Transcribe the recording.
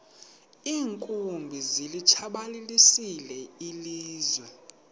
iinkumbi zilitshabalalisile ilizwe